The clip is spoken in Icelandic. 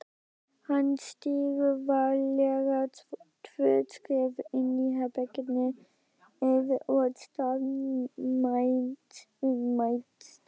Hann stígur varlega tvö skref inn í herbergið og staðnæmist.